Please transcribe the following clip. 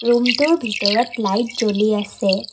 ৰুমটোৰ ভিতৰত লাইট জ্বলি আছে।